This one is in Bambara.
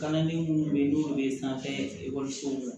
Kalanden minnu bɛ yen n'olu bɛ sanfɛ ekɔlisow la